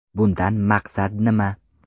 Bundan maqsad nima?.